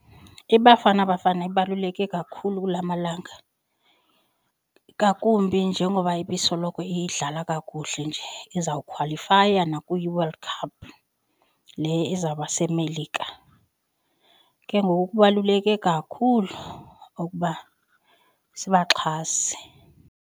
I-Bafana Bafana ibaluleke kakhulu kula malanga ngakumbi njengoba ibisoloko idlala kakuhle nje izawukhwalifaya nakwiWorld cup le izawuba seMelika. Ke ngoku kubaluleke kakhulu ukuba sibaxhase.